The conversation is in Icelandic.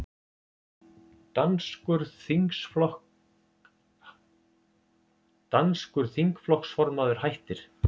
Danskur þingflokksformaður hættir